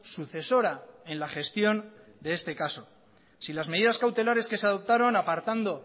sucesora en la gestión de este caso si las medidas cautelares que se adoptaron apartando